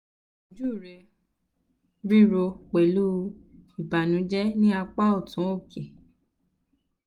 iboju rẹ jẹ rirọ pẹlu ìbànújẹ ni apa ọtun oke